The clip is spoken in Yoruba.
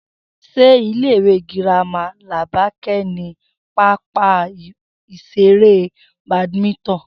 S̩e ilé ìwé girama Làbáké̩ ní pápá ìs̩eré Badminton?